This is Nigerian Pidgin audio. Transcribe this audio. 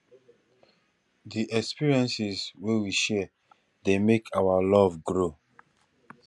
di experiences wey we share dey make our love grow